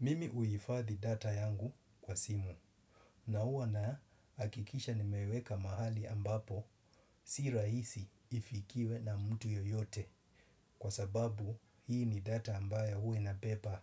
Mimi uifadhi data yangu kwa simu na huwa na hakikisha nimeiweka mahali ambapo si rahisi ifikiwe na mtu yoyote kwa sababu hii ni data ambayo huwa ina beba